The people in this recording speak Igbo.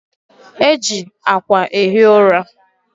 E ji akwa ehi ụra